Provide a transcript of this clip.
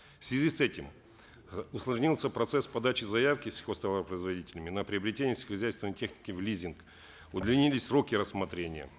в связи с этим э усложнился процесс подачи заявки сельхозтоваропроизводителями на приобретение сельскохозяйственной техники в лизинг удлинились сроки рассмотрения